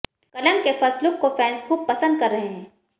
कलंक के first look को फैंस खूब पसंद कर रहे हैं